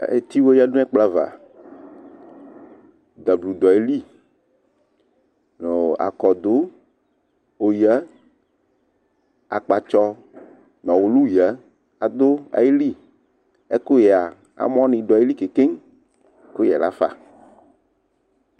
Eti wɛ ƴǝ du n' ɛƙplɔ ava; ɖablu ɖʋ aƴili, nʋɔ aƙɔɖʋ oƴǝ ,aƙpatsɔ nʋ ɔwʋlʋ ƴǝ aɖʋ aƴili Ɛƙʋƴɛa ,amɔ nɩ ɖʋ aƴili ƙeŋkeŋ Ɛƙʋƴɛ lafa